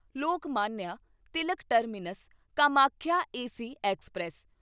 Lokmanya Tilak terminus Kamakhya AC express